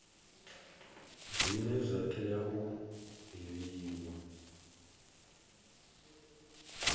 zwine zwa tea u divhiwa